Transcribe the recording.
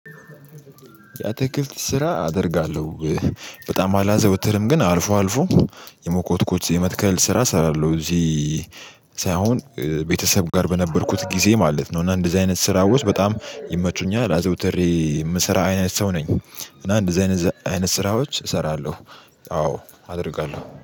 ያትክልት ስራ አደርጋለሁ። በጣም አላዘወትርም ግን አልፎ አልፎ የመኮትኮት የመትከል ስራ እሰራለሁ እዚህ ሳይሆን ቤተሰብ ጋር በነበርኩት ጊዜ ማለት ነው። እና እንደዚህ አይነት ስራዎች በጣም ይመቹኛል አዘውትሬ የምስራ አይነት ሰው ነኝ። እና እንደዚህ አይነት ዛ አይነት ስራዎች እሰራለሁ። አዎ አደርጋለሁ